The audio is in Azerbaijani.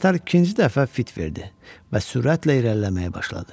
Qatar ikinci dəfə fit verdi və sürətlə irəliləməyə başladı.